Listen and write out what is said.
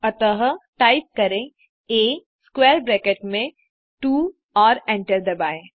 अतः टाइप करें आ स्क्वैर ब्रैकेट में 2 और एंटर दबाएँ